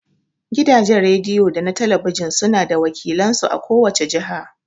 Gidajen rediyo da na talabijin suna da wakilan su a ko wace jiha.